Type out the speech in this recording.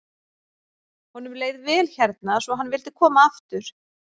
Honum leið vel hérna svo hann vildi koma aftur.